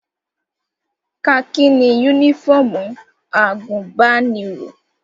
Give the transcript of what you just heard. Kakí ni yúnífọ̀mù àgùnbánirọ̀